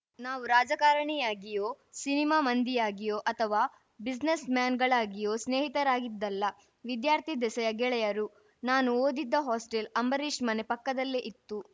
ನಾವು ರಾಜಕಾರಣಿಯಾಗಿಯೋ ಸಿನಿಮಾ ಮಂದಿಯಾಗಿಯೋ ಅಥವಾ ಬ್ಯುಸಿನೆಸ್‌ ಮ್ಯಾನ್‌ಗಳಾಗಿಯೋ ಸ್ನೇಹಿತರಾಗಿದ್ದಲ್ಲ ವಿದ್ಯಾರ್ಥಿ ದೆಸೆಯ ಗೆಳೆಯರು ನಾನು ಓದಿದ್ದ ಹಾಸ್ಟೆಲ್‌ ಅಂಬರೀಶ್‌ ಮನೆ ಪಕ್ಕದಲ್ಲೇ ಇತ್ತು